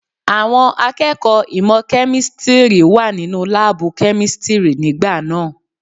Àwọn akẹ́kọ̀ọ́ ìmọ̀ kẹ́místìrì wà nínú láàbù kẹ́místìrì nígbà náà.